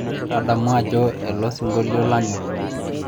tadamu ajo ele osingolio lanyorr